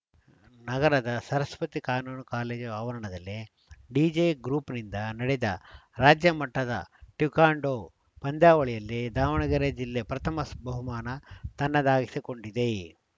ನಗರದ ಸರಸ್ವತಿ ಕಾನೂನು ಕಾಲೇಜು ಆವರಣದಲ್ಲಿ ಡಿಜೆಗ್ರೂಪ್‌ನಿಂದ ನಡೆದ ರಾಜ್ಯಮಟ್ಟದ ಟೆಕ್ವಾಂಡೋ ಪಂದ್ಯಾವಳಿಯಲ್ಲಿ ದಾವಣಗೆರೆ ಜಿಲ್ಲೆ ಪ್ರಥಮ ಬಹುಮಾನ ತನ್ನದಾಗಿಸಿಕೊಂಡಿದೆ